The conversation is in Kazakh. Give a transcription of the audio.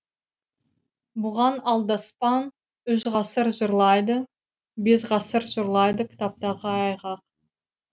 бұған алдаспан үш ғасыр жырлайды бес ғасыр жырлайды кітаптағы айғақ